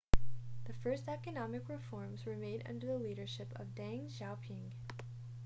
the first economic reforms were made under the leadership of deng xiaoping